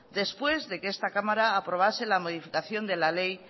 después de que esta cámara aprobase la modificación de la ley